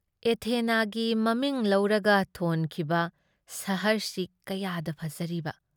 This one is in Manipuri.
ꯑꯦꯊꯦꯅꯥꯒꯤ ꯃꯃꯤꯡ ꯂꯧꯔꯒ ꯊꯣꯟꯈꯤꯕ ꯁꯍꯔꯁꯤ ꯀꯌꯥꯗ ꯐꯖꯔꯤꯕ ꯫